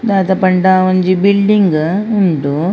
ದಾದ ಪಂಡ ಒಂಜಿ ಬಿಲ್ಡ್ಂಗ್ ಉಂಡು.